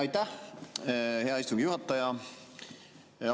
Aitäh, hea istungi juhataja!